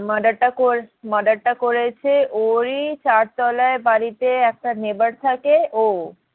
Murder টা murder টা করেছে ওরই চার তোলার বাড়িতে একটা neighbor থাকে ও,